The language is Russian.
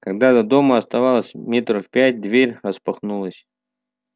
когда до дома осталось метров пять дверь распахнулась